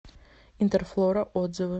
интерфлора отзывы